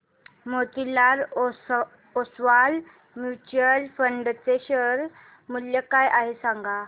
Motilal Oswal mutual fund चे share मूल्य काय आहे सांगा